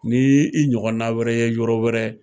Ni y'i ɲɔgɔn na wɛrɛ ye yɔrɔ wɛrɛ.